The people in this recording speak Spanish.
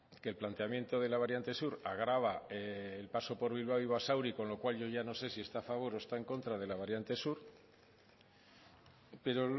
que el planteamiento de la variante sur agrava el paso por bilbao y basauri con lo cual yo ya no sé si está a favor o está en contra de la variante sur pero